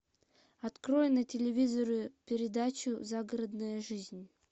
открой на телевизоре передачу загородная жизнь